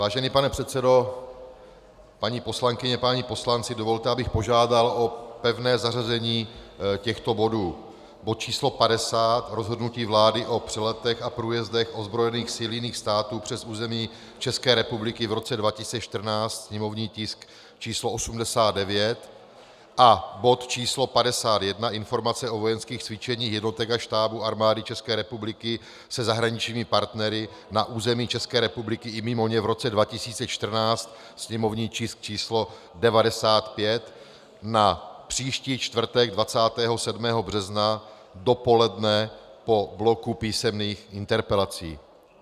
Vážený pane předsedo, paní poslankyně, páni poslanci, dovolte, abych požádal o pevné zařazení těchto bodů: bod číslo 50, Rozhodnutí vlády o přeletech a průjezdech ozbrojených sil jiných států přes území České republiky v roce 2014, sněmovní tisk číslo 89, a bod číslo 51 Informace o vojenských cvičeních jednotek a štábů Armády České republiky se zahraničními partnery na území České republiky i mimo ně v roce 2014, sněmovní tisk číslo 95, na příští čtvrtek 27. března dopoledne po bloku písemných interpelací.